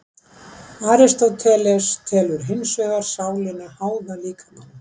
Aristóteles telur hins vegar sálina háða líkamanum.